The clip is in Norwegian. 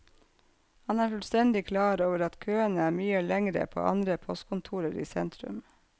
Han er fullstendig klar over at køene er mye lengre på andre postkontorer i sentrum.